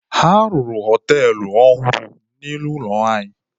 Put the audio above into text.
A rụrụ họtelụ ọhụrụ n'ihu ụlọ anyị.